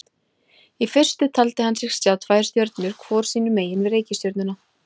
Í fyrstu taldi hann sig sjá tvær stjörnur hvor sínu megin við reikistjörnuna.